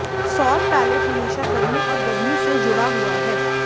सौर पैलेट हमेशा गर्मी और गर्मी से जुड़ा हुआ है